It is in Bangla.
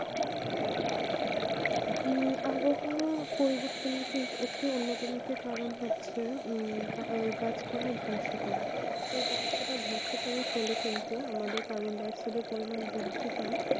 হম আবহাওয়া পরিবর্তন কিন্তু একটি অন্যতম একটি কারণ হচ্ছে হম গাছ পালা ধ্বংস করা এই গাছ পালা ধ্বংস করা ফলে কিন্তু আমাদের কার্বনডাই অক্সাইড পরিমান বৃদ্ধি পাই